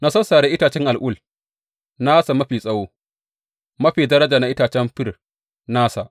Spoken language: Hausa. Na sassare itacen al’ul nasa mafi tsawo mafi daraja na itacen fir nasa.